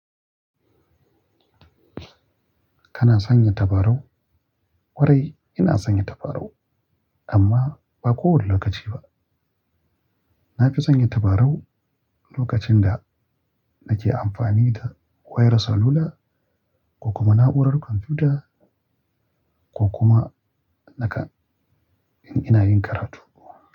Kana sanya tabarau? Kwarai, ina sanya tabarau amma ba kowane lokaci ba. Na fi sanya tabarau lokacin da nake amfani da wayar salula ko kuma na'urar kwamfuta ko kuma nikan in ina yin karatu.